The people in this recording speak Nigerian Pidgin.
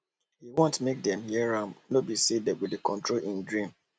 e wan make dem hear am no be say dem go dey control him dream